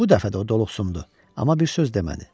Bu dəfə də o doluqsundu, amma bir söz demədi.